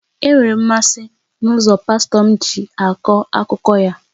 Enwere m mmasị n'ụzọ pastọ m na-akọ akụkọ ya